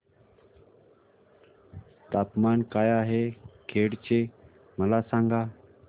तापमान काय आहे खेड चे मला सांगा